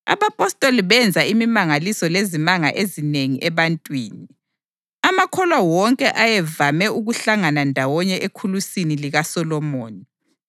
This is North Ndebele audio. Abapostoli benza imimangaliso lezimanga ezinengi ebantwini. Amakholwa wonke ayevame ukuhlangana ndawonye eKhulusini likaSolomoni.